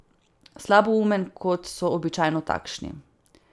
Slaboumen, kot so običajno takšni.